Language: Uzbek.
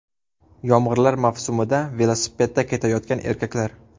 Yomg‘irlar mavsumida velosipedda ketayotgan erkaklar.